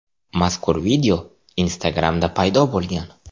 Mazkur video Instagram’da paydo bo‘lgan .